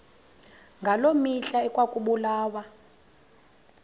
ngaloo mihla ekwakubulawa